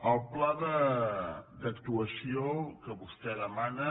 el pla d’actuació que vostè demana